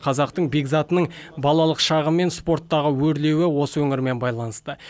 қазақтың бекзатының балалық шағы мен спорттағы өрлеуі осы өңірмен байланысты